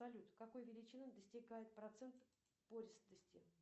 салют какой величины достигает процент пористости